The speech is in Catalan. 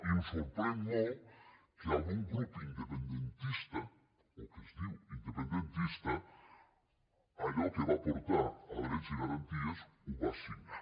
i em sorprèn molt que algun grup independentista o que es diu independentista allò que va portar a drets i garanties ho va signar